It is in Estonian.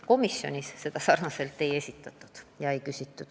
Komisjonis seda küsimust aga ei esitatud.